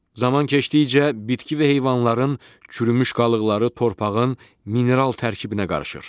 Zaman keçdikcə bitki və heyvanların çürümüş qalıqları torpağın mineral tərkibinə qarışır.